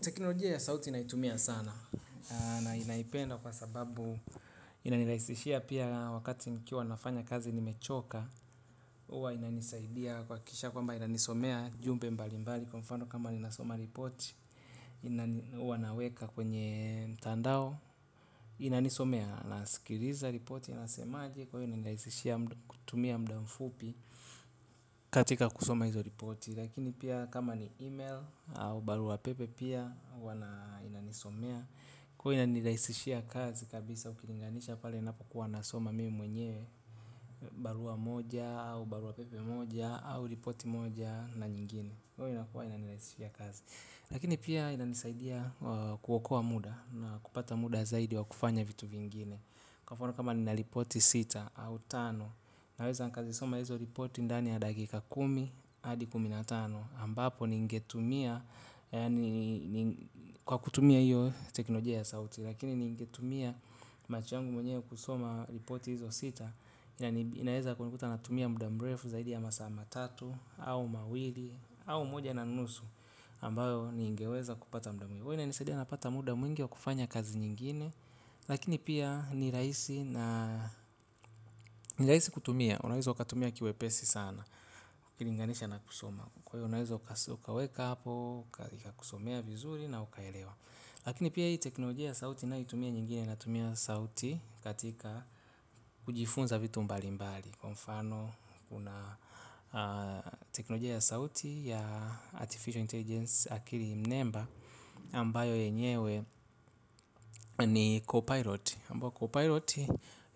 Teknolojia ya sauti naitumia sana na naipenda kwa sababu inanirahisishia pia wakati nikiwa nafanya kazi nimechoka huwa inanisaidia kuhakikisha kwamba inanisomea jumbe mbalimbali kwa mfano kama ninasoma ripoti huwa naweka kwenye mtandao inanisomea nasikiliza ripoti inasemaje kwa hiyo inanirahisishia kutumia muda mfupi katika kusoma hizo ripoti lakini pia kama ni email au barua pepe pia huwa inanisomea kuwa inanirahisishia kazi kabisa ukinilinganisha pale ninapokuwa nasoma mimi mwenye barua moja au barua pepe moja au ripoti moja na nyingine kwa hiyo inakuwa inanirahisishia kazi lakini pia inanisaidia kuokoa muda na kupata muda zaidi wa kufanya vitu vingine kwa mfano kama nina ripoti sita au tano naweza nikazisoma hizo ripoti ndani ya dakika kumi hadi kumi na tano ambapo ningetumia yaani kwa kutumia hiyo teknolojia ya sauti lakini ningetumia macho yangu mwenyewe kusoma ripoti hizo sita inaweza kunikuta natumia muda mrefu zaidi ya masaa matatu au mawili au moja na nusu ambayo ningeweza kupata muda mwingi huwa inanisaidia napata muda mwingi wa kufanya kazi nyingine lakini pia ni rahisi na ni rahisi kutumia unaweza ukatumia kiwepesi sana ukilinganisha na kusoma kwa hiyo unaweza ukaweka hapo ikakusomea vizuri na ukaelewa. Lakini pia hii teknolojia ya sauti ninayoitumia nyingine natumia sauti katika kujifunza vitu mbalimbali kwa mfano kuna teknolojia ya sauti ya artificial intelligence akili mnemba ambayo yenyewe ni Copilot ambayo Copilot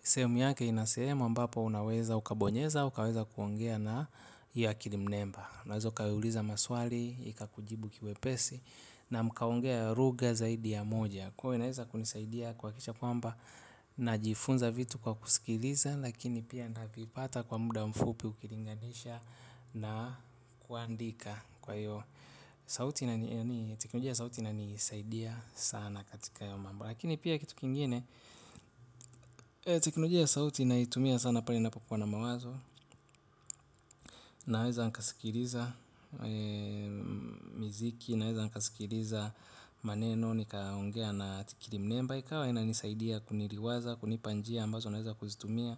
sehemu yake ina sehemu ambapo unaweza ukabonyeza ukaweza kuongea na hiyo akili mnemba unaweza ukaiuliza maswali ikakujibu kiwepesi. Na mkaongea lugha zaidi ya moja kwa hiyo inaweza kunisaidia kuhakikisha kwamba najifunza vitu kwa kusikiliza lakini pia navipata kwa muda mfupi ukilinganisha na kuandika kwa hiyo teknolojia ya sauti inanisaidia sana katika hayo mambo lakini pia kitu kingine teknolojia ya sauti naitumia sana pale ninapokuwa na mawazo naweza nikasikiliza miziki naweza nikasikiliza maneno nikaongea na akili mnemba ikawa inanisaidia kuniliwaza kunipa njia ambazo naweza kuzitumia.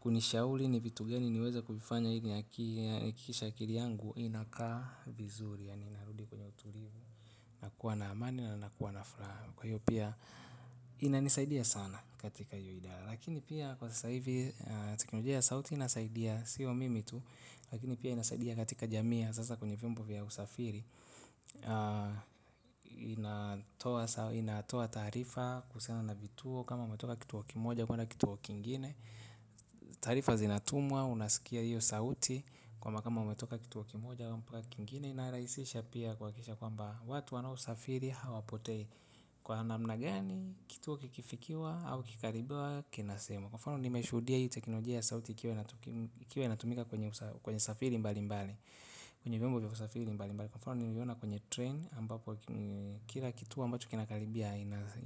Kunishauri ni vitu gani niweze kuvifanya ili nihakikishe akili yangu inakaa vizuri yaani inarudi kwenye utulivu na kuwa na amani na nakuwa na furaha kwa hiyo pia inanisaidia sana katika hiyo idara lakini pia kwa sasa hivi teknolojia ya sauti inasaidia siyo mimi tu lakini pia inasaidia katika jamii ya sasa kwenye vyombo vya usafiri. Inatoa taarifa kuhusiana na vituo kama umetoka kituo kimoja kwenda kituo kingine. Taarifa zinatumwa unasikia hiyo sauti kwamba kama umetoka kituo kimoja mpaka kingine inarahisisha pia kuhakikisha kwamba watu wanaosafiri hawapotei kwa namna gani kituo kikifikiwa au kikikaribwa kinasema kwa mfano nimeshuhudia hii teknolojia ya sauti ikiwa ikiwa inatumika kwenye safiri mbalimbali, kwenye vyombo vya kusafiri mbalimbali. Kwa mfano nimeona kwenye train ambapo kila kituo ambacho kinakaribia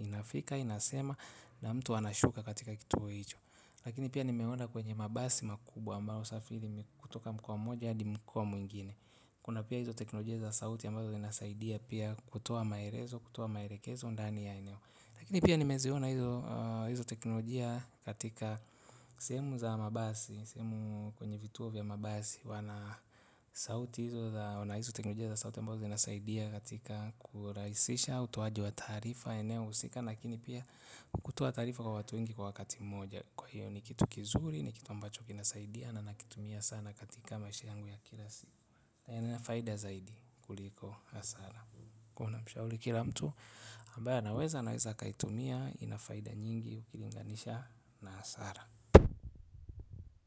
inafika inasema na mtu anashuka katika kituo hicho. Lakini pia nimeona kwenye mabasi makubwa ambayo husafiri kutoka mkoa mmoja hadi mkoa mwingine. Kuna pia hizo teknolojia za sauti ambazo zinasaidia pia kutoa maelezo, kutoa maelekezo ndani ya eneo. Lakini pia nimeziona hizo teknolojia katika sehemu za mabasi, sehemu kwenye vituo vya mabasi wana sauti hizo za, wana hizo teknolojia za sauti ambazo zinasaidia katika kurahisisha utoaji wa taarifa eneo husika lakini pia kutoa taarifa kwa watu wengi kwa wakati mmoja. Kwa hiyo ni kitu kizuri, ni kitu ambacho kinasaidia na nakitumia sana katika maisha yangu ya kila siku na ina faida zaidi kuliko hasara kwa hiyo namshauri kila mtu ambaye anaweza anaweza akaitumia ina faida nyingi ukilinganisha na hasara.